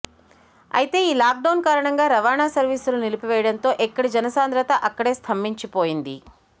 అయితే ఈ lockdown కారణంగా రవాణా సర్వీసులు నిలిపివేయడంతో ఎక్కడి జనసాంద్రత అక్కడే స్తంభించిపోయింది